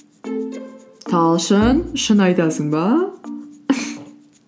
талшын шын айтасың ба